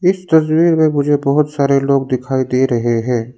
इस तस्वीर में मुझे बहोत सारे लोग दिखाई दे रहे हैं।